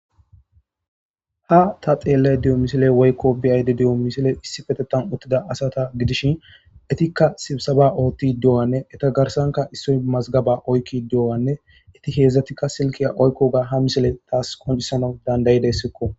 Ha ta telayide diyo missiley woyikko be'ayide diyo missiley issipetetan uttida asata gidishin etika sibisaba ottidi diyoganne eta garssanka issoy mazigabba oyikkidi diyoganne hedzdzati qase silkkiya oyikkoga ha missiley tasi qonccisanaw danda'desko.